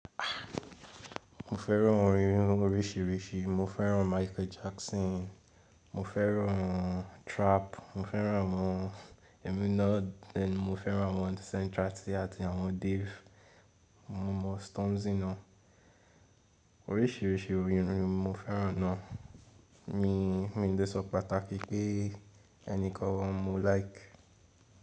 Ah! Mo fẹ́ràn orin oríṣìíríṣìí, mo fẹ́ràn Michael Jackson, mo fẹ́ràn trap, mo fẹ́ràn àwọn Eminem, mo fẹ́ràn àwọn Central Cee àti àwọn Dave. Mo mọ Stormzy ná. Oríṣiríṣi orin rin mo fẹ́ràn náà mi, mi lè sọ pàtàkì pé ẹni kan mo like.